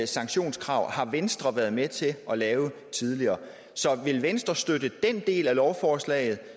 sanktionskrav har venstre været med til at lave tidligere så vil venstre støtte den del af lovforslaget